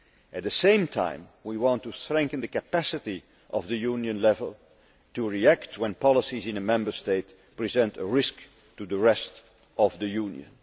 At the same time, we want to strengthen the capacity of the Union level to react when policies in a Member State present a risk to the rest of the Union.